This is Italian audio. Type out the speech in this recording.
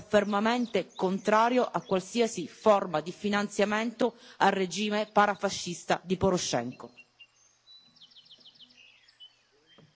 Ora la proposta del Parlamento limita quella della Commissione, ma il nostro gruppo è fermamente contrario a qualsiasi forma di finanziamento al regime parafascista di Poroshenko.